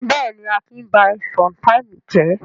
Bẹ́ẹ̀ ni, Akin ba sometimes jẹ́.